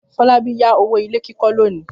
Fọlábí yá owó ilé kíkọ́ lónìí.